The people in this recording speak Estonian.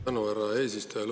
Tänan, härra eesistuja!